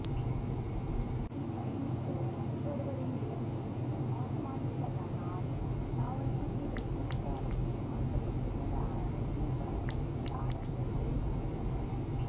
இதில் பயணித்த மற்றொருவரின் நிலைமை மிக மோசமாவுள்ளதனால் நாவலப்பிட்டி வைத்தியசாலைக்கு மாற்றப்பட்டுள்ளதாக வைத்தியசாலை வட்டாரங்கள் தெரிவிக்கின்றன